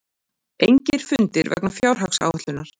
Engir fundir vegna fjárhagsáætlunar